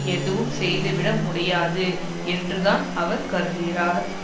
எதுவும் செய்துவிட முடியாது என்றுதான் அவர் கருதுகிறார்